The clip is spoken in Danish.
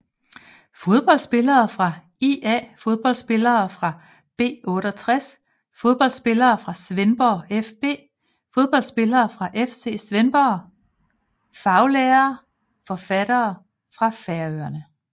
Fodboldspillere fra ÍA Fodboldspillere fra B68 Fodboldspillere fra Svendborg fB Fodboldspillere fra FC Svendborg Faglitterære forfattere fra Færøerne